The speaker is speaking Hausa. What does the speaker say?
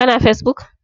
Ka na fesbuk?